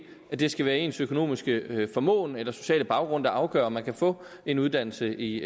at det skal være ens økonomiske formåen eller sociale baggrund der afgør om man kan få en uddannelse i